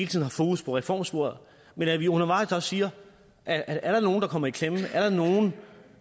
tiden fokus på reformsporet men at vi undervejs også siger at er der nogen der kommer i klemme